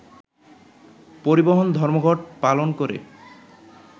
পরিবহন ধর্মঘট পালন করে